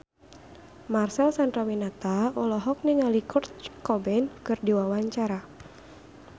Marcel Chandrawinata olohok ningali Kurt Cobain keur diwawancara